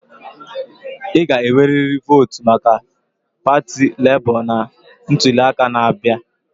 Ị ga-enwerịrị votu maka pati Lebo na ntuli aka na-abịa.